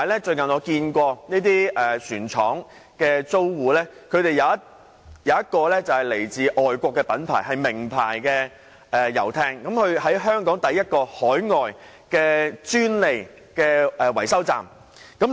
最近，我發現有一船廠租戶是來自外國著名遊艇品牌，是首個在港設有海外專利維修站的品牌。